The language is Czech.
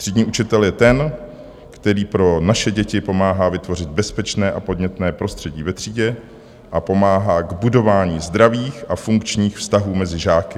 Třídní učitel je ten, který pro naše děti pomáhá vytvořit bezpečné a podnětné prostředí ve třídě a pomáhá k budování zdravých a funkčních vztahů mezi žáky.